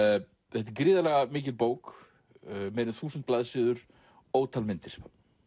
þetta er gríðarlega mikil bók meira en þúsund blaðsíður ótal myndir